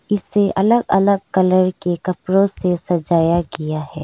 इसे अलग अलग कलर के कपड़ों से सजाया गया है।